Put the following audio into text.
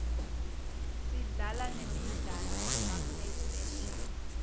sidlala nemidlalo yema playstation